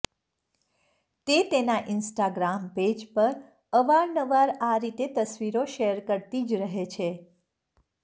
તે તેનાં Instagram page પર અવાર નવાર આ રીતે તસવીરો શેર કરતી જ રહે છે